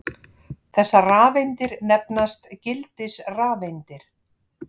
Þessar rafeindir nefnast gildisrafeindir.